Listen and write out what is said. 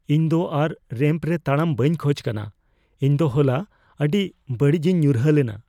ᱤᱧ ᱫᱚ ᱟᱨ ᱨᱮᱢᱯ ᱨᱮ ᱛᱟᱲᱟᱢ ᱵᱟᱹᱧ ᱠᱷᱚᱡ ᱠᱟᱱᱟ ᱾ ᱤᱧ ᱫᱚ ᱦᱚᱞᱟ ᱟᱹᱰᱤ ᱵᱟᱹᱲᱤᱡᱤᱧ ᱧᱩᱨᱦᱟᱹ ᱞᱮᱱᱟ ᱾